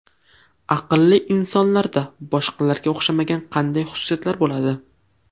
Aqlli insonlarda boshqalarga o‘xshamagan qanday xususiyatlar bo‘ladi?